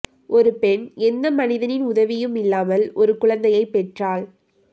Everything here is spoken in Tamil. ஒரு பெண் எந்த மனிதனின் உதவியும் இல்லாமல் ஒரு குழந்தையை பெற்றாள்